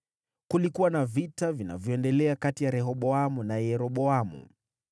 Kulikuwa na vita vinavyoendelea kati ya Rehoboamu na Yeroboamu.